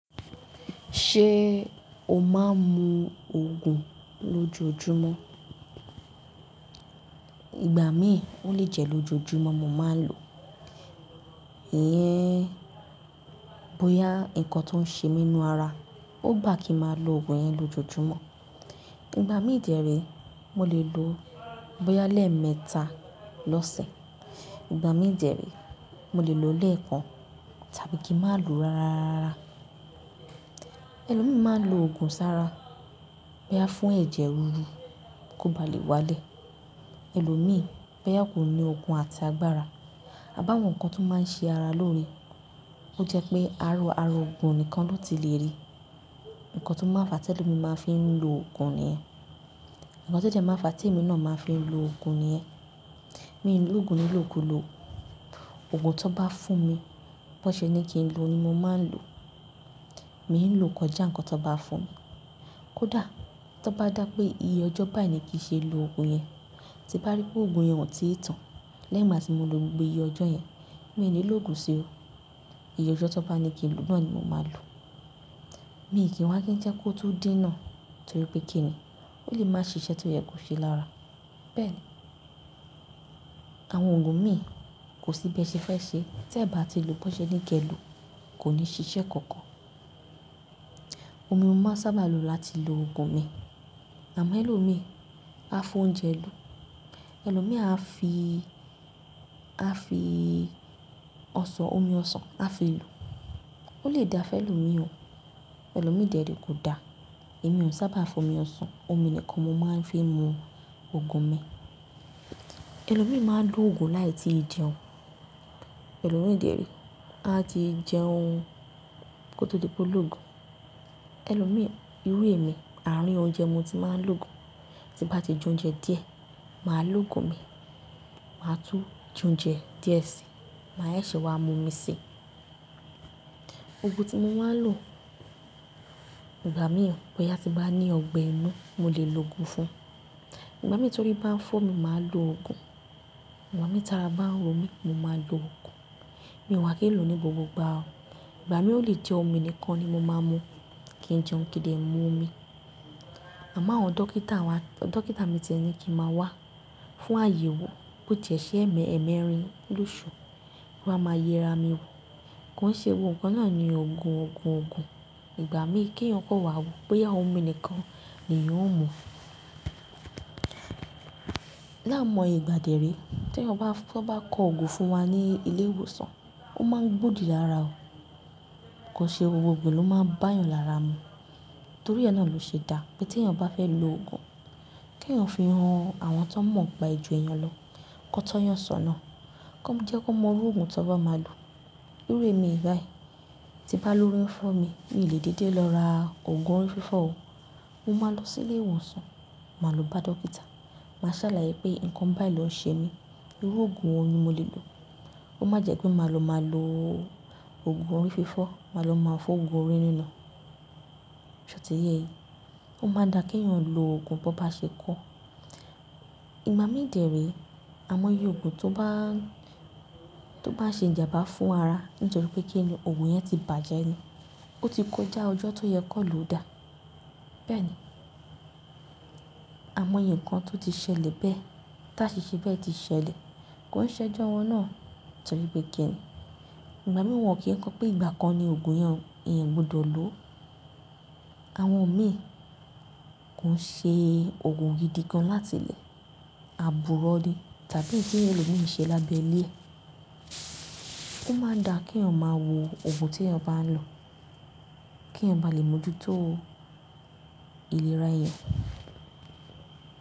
Ṣé o máa ń mu òògùn lójoojúmọ́? Ìgbà mìí ó lè jẹ́ lójoojúmọ́ mo máa ń lò. Ìyẹn bóyá ǹkan tó ń ṣe mi nínú ara, ó gbá kiì máa lo òògùn yẹn lójoojúmọ́. Ìgbà mí déré mo lè lo bóyá lẹ́ẹ̀ mẹ́ta lọ́sẹ̀, ìgbà mí déré mo lè lo lẹ́ẹ̀ kan tàbí kí n má lo rárara. Ẹlòmíì máa ń lo òògùn sára bóyá fún ẹ̀jẹ̀ riru kó ba lè wálẹ̀. Ẹlòmíì bóyá kò ní òkùn àti agbára, a bá wọn ǹkan tó máa ń ṣe ara lóore. Ó jẹ́ pé aro ara òògùn nìkan ló ti lè rí. Ǹkan tó máa ń fa tí ẹlòmíì máa ń fi lo òògùn nìyẹn. Ǹkan tó jẹ́ máa ń fa tí èmi náà máa ń fi lo òògùn nìyẹn. Mi ò ń lòògùn ní lòku lò. Òògùn tó bá fún mi, bón ṣe ní kí n lo ní mo máa ń lò. Mi ò ń lo kọjá ǹkan tan bá fún mi. Kódà tó bá dà pé iye ọjọ́ báyìí ní kí ṣe lo òògùn yẹn, tí bá rí pé òògùn yẹn o ti tàn lẹ́yìn ìgbà tí mo lò gbogbo iye ọjọ́ yẹn, mi ò ní lòògùn sí o. Iye ọjọ́ tan bá ní kí n lò náà ni mo máa lò. Mi n kì í wá jẹ́ kó tó diná torí pé kí ni? Ó lè máa ṣíṣe tí o ye kò ṣe lára. Bẹ́ẹ̀ ni. Àwọn òògùn míì kò sí bí ẹṣẹ fẹ́ ṣe, tí ẹ bá ti lò bón ṣe ní kí ẹ lò kò ní ṣiṣẹ́ kankan. Omi ni mo máa sábà lo láti lo òògùn mi. Àmọ́ ẹlòmíì á fi oúnjẹ lò. Ẹlòmíì á fi, á fi ọsàn, omi ọsàn á fi lò. Ó lè da fẹ́ ẹlòmíì o. Ẹlòmíì déré kódà èmi ò sábà fi omi ọsàn, omi nìkan ni mo máa ń fi mu òògùn mi. Ẹlòmíì máa ń lo òògùn láì tí ì jẹun. Ẹlòmíì déré a ti jẹ ohun kó tó dípò lòògùn. Ẹlòmíì irú èmi àárín oúnjẹ ni mo ti máa ń lo òògùn. Tí bá ti jẹ oúnjẹ díẹ̀, màá lo òògùn mi, màá tún jẹ oúnjẹ díẹ̀ sí, màá sese wá mu omi sí i. Òògùn tí mo máa ń lò ìgbà mìíràn bóyá tí bá ní ọgbẹ́ inú mó lè lo òògùn fún un. Ìgbà mìíràn torí bá ń fọ́ mi mó máa lo òògùn. Ìgbà mìíràn tara bá ń ro mí mó máa lo òògùn. Mi wá kì í lò ní gbogbo ìgbà o. Ìgbà mìíràn ó lè jẹ́ omi nìkan ni mo máa ń mu kí n jẹun kí n de mu omi. Àmọ́ áwọn dókítà mi ti ní kí n máa wá fún àyẹ̀wò bó ti ẹṣẹ ẹmẹ ẹmẹ rin lóṣù, kí wá máa yera mi wò. Kó n ṣe gbogbo ǹkan náà ní òògùn òògùn òògùn. Ìgbà mí kí èèyàn kan wá bóyá omi nìkan niyan óò mú. Lái moye ìgbà déré tí èèyàn bá kó òògùn fún wa ní ilé ìwòsàn, ó máa ń gbòdì lára o. Kó n ṣe gbogbo òògùn lò máa ń bá èèyàn lára mu. Torí yen náà ló ṣe dá pé tí èèyàn bá fẹ́ lo òògùn, kí èèyàn fi han àwọn tó mọ̀ niba e ju èèyàn lọ, kan tọ́yàn sọ̀nà, kan jẹ́ kó mọ irú òògùn tó bá máa lò. Irú èmi báyìí tí bá lóori ń fọ́ mi, mi ò lè dédé lọ ra òògùn orí fífọ́ o. Mo máa lọ sí ilé ìwòsàn, màá lo bá dókítà, màá sàlàyé pé nǹkan báyìí ló ń ṣe mí, irú òògùn wo ni mo lè lò. Ko má jẹ́ pé màá lọ máa lo òògùn orí fífọ́, màá lọ máa fi wo òògùn orí rirun. Ṣé o ti ye e? Ó máa n da kí èèyàn lo òògùn bón bá ṣe kọ. Ìgbà mí déré a mọ iye òògùn tó bá, tó bá ṣe ìjà bá fún ara nítorí pé kí ni òògùn yẹn ti bàjẹ́ ni. Ó ti kó já ọjọ́ tó yẹ kan lò dà. Bẹ́ẹ̀ ni. A mọ yẹ nǹkan tó ti ṣẹlẹ̀ bẹ́ẹ̀, tí àṣìṣe bẹ́ẹ̀ ti ṣẹlẹ̀, kó ń ṣẹ́jọ́ wọn náà torí pé kí ni? Ìgbà mìíràn won kí n kọ́ pé ìgbà kan ni òògùn yẹn èèyàn ogbọdọ̀ lò ó. Àwọn òun mìíràn kò ń ṣe òògùn gidi kan láti ilé àbúrò ni tàbí kíni èèyàn méjèèjì ṣe lábẹ́ ilé. Ó máa n da kí èèyàn máa wo òògùn tí èèyàn bá ń lò kí èèyàn bá lè mọ̀ ju tó ìlera èèyàn.